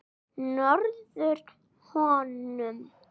Nærðu honum?